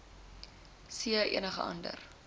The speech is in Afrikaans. c enige ander